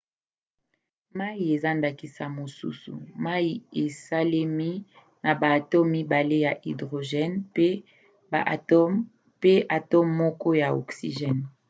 mai eza ndakisa mosusu. mai esalemi na baatome mibale ya hydrgene mpe atome moko ya oxygene